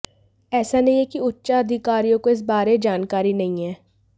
ऐसा नहीं है कि उच्चाधिकारियों को इस बारे जानकारी नहीं है